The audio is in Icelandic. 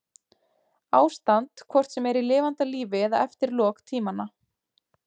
Ástand hvort sem er í lifanda lífi eða eftir lok tímanna.